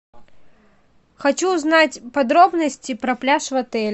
хочу узнать подробности про пляж в отеле